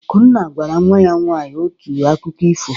Akunna gwara nwa ya nwaanyị otu akụkọ ifo.